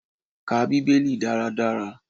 Ká Bíbélì dáradára.